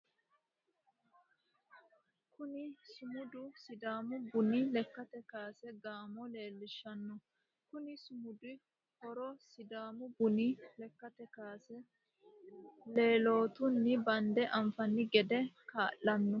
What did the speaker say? Kunni sumudu sidaamu bunnu lekkate kaase goomo loolishanoho. Konni sumudu horo sidaamu bunni lekate kaase lelootunni bande anfanni gede kaa'lano.